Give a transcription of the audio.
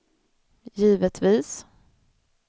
givetvis